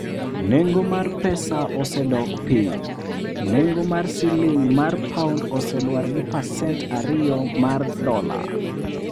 Nengo mar pesa osedok piny, Nego mar siling' mar pound oseluar gi pasent ariyo mar dola